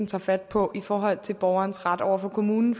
tager fat på i forhold til borgerens ret over for kommunen